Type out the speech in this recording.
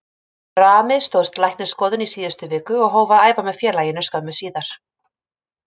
Rami stóðst læknisskoðun í síðustu viku og hóf að æfa með félaginu skömmu síðar.